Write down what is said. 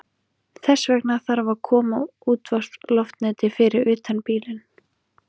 Er í lagi að drekka vatn úr ám og lækjum?